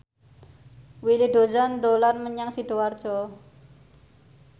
Willy Dozan dolan menyang Sidoarjo